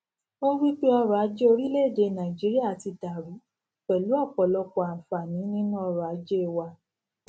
ó wípé ọrò ajé orílèèdè nàìjíríà ti dàrú pèlú òpòlọpò ànfààní nínú ọrò ajé wa